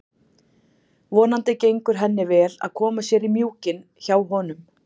Vonandi gengur henni vel að koma sér í mjúkinn hjá honum.